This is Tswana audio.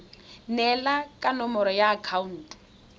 neelana ka nomoro ya akhaonto